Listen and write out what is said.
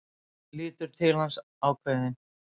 Lítur til hans, ákveðin.